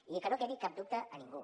i que no quedi cap dubte a ningú